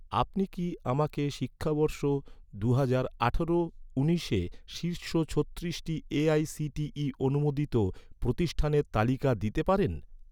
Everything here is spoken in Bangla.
আপনি কি আমাকে শিক্ষাবর্ষ দু হাজার আঠারো উনিশে শীর্ষ ছত্রিশটি এ.আই.সি.টি.ই অনুমোদিত প্রতিষ্ঠানের তালিকা দিতে পারেন?